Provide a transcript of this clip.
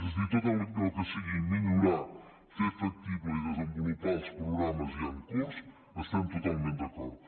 és a dir en tot allò que sigui millorar fer factible i desenvolupar els programes ja en curs hi estem totalment d’acord